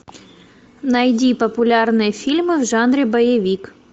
найди популярные фильмы в жанре боевик